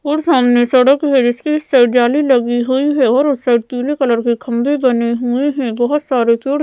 और सामने सड़क है जिसके इस साइड जाली लगी हुई है और उस साइड पीले कलर के खंभे बने हुए हैं बहोत सारे --